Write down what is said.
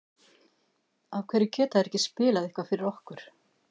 af hverju geta þeir ekki spilað eitthvað fyrir okkur?